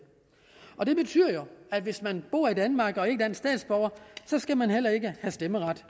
og det betyder jo at hvis man bor i danmark og ikke er dansk statsborger skal man heller ikke have stemmeret